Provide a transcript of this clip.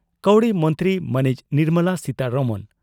ᱠᱟᱹᱣᱰᱤ ᱢᱚᱱᱛᱨᱤ ᱢᱟᱹᱱᱤᱡ ᱱᱤᱨᱢᱚᱞᱟ ᱥᱤᱛᱟᱨᱚᱢᱚᱱ